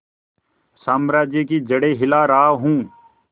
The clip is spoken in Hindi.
साम्राज्य की जड़ें हिला रहा हूं